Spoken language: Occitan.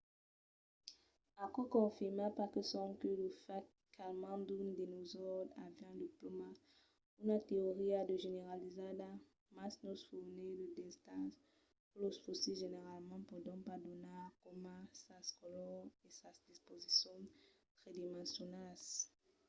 aquò confirma pas sonque lo fach qu’almens d’unes dinosaures avián de plumas una teoria ja generalizada mas nos fornís de detalhs que los fossils generalament pòdon pas donar coma sas colors e sas disposicions tridimensionalas